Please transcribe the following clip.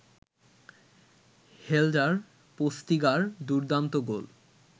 হেল্ডার Postiga দুর্দান্ত গোল